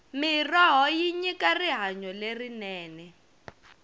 mirhoho yi nyika rihanyo lerinene